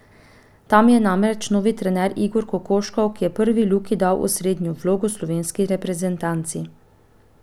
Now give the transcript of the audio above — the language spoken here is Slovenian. Tam je namreč novi trener Igor Kokoškov, ki je prvi Luki dal osrednjo vlogo v slovenski reprezentanci.